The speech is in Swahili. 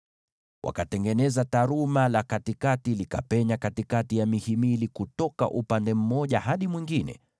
Wakatengeneza taruma la katikati, likapenya katikati ya mihimili kutoka mwisho mmoja hadi mwisho mwingine.